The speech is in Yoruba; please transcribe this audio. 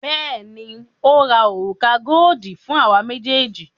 Bẹẹni, ó ra òrùka goodi fún àwa méjèèjì